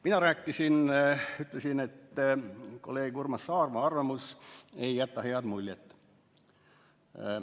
Mina ütlesin, et kolleeg Urmas Saarma arvamus ei jäta head muljet.